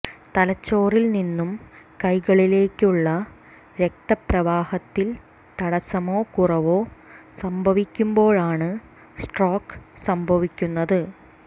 തലച്ചോറിൽ നിന്നും കൈകളിലേക്കുള്ള രക്തപ്രവാഹത്തിൽ തടസ്സമോ കുറവോ സംഭവിക്കുമ്പോഴാണ് സ്ട്രോക്ക് സംഭവിക്കുന്നത്